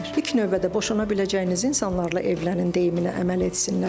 İlk növbədə boşanabiləcəyiniz insanlarla evlənin deyiminə əməl etsinlər.